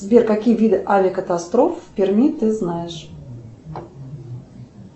сбер какие виды авиакатастроф в перми ты знаешь